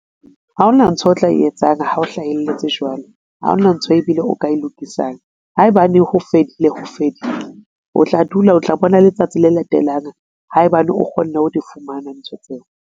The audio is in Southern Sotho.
Ha ona ntho o tla e etsang ha o hlahelletse jwalo, ha hona ntho e bile o ka e lokisang. Haebane ho fedile ho fedile o tla dula o tla bona letsatsi le latelang. Haebane o kgonne ho di fumana ntho tseo.